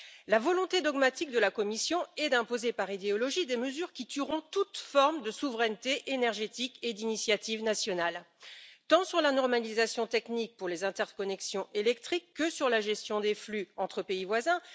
La volonté dogmatique de la Commission est d'imposer par idéologie des mesures qui tueront toute forme de souveraineté énergétique et d'initiative nationale, tant sur la normalisation technique pour les interconnexions électriques que sur la gestion des flux entre pays voisins.